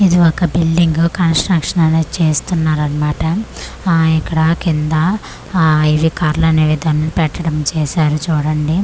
ఇది ఒక building construction అనేది చేస్తున్నారన్మాట ఆ ఇక్కడ కింద ఆ ఇది కర్లనేవి తను పెట్టడం చేశారు చూడండి.